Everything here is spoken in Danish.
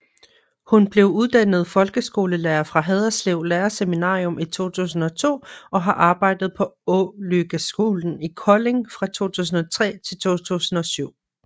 Hun blev uddannet folkeskolelærer fra Haderslev Lærerseminarium i 2002 og har arbejdet på Ålykkeskolen i Kolding fra 2003 til 2007